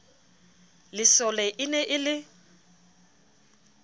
lesole e ne e le